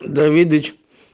давидыч